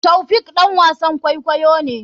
Taofiq ɗan wasan kwaikwayo ne.